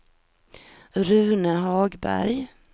Rune Hagberg